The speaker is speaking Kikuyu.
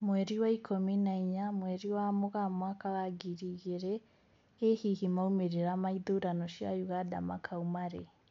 Mweri wa ikũmi na inya, mweri wa Mũgaa mwaka wa ngiri igĩrĩ , ĩ hihi maumĩrĩra ma ithurano cia Uganda makauma rĩ